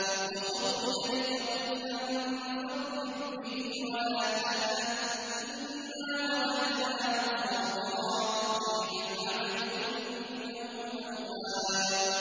وَخُذْ بِيَدِكَ ضِغْثًا فَاضْرِب بِّهِ وَلَا تَحْنَثْ ۗ إِنَّا وَجَدْنَاهُ صَابِرًا ۚ نِّعْمَ الْعَبْدُ ۖ إِنَّهُ أَوَّابٌ